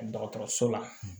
Dɔgɔtɔrɔso la